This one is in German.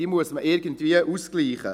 Die muss man irgendwie ausgleichen.